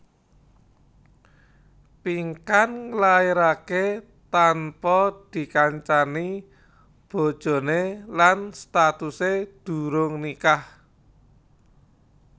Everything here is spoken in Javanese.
Pinkan nglairaké tanpa dikancani bojoné lan statusé durung nikah